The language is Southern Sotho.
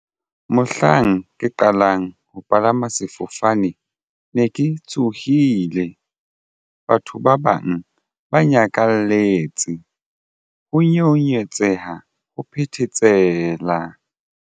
Mohlang ke qalang ho palama sefofane ne ke tshohile. Batho ba bang ba nyakalletse ho nyeonyetseha ho phethesela.